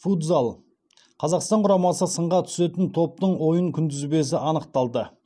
футзал қазақстан құрамасы сынға түсетін топтың ойын күнтізбесі анықталды